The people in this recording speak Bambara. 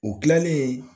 U kilalen